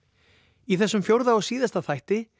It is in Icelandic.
í þessum fjórða og síðasta þætti